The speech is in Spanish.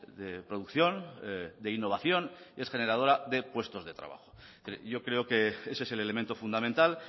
de producción de innovación y es generadora de puestos de trabajo yo creo que ese es el elemento fundamental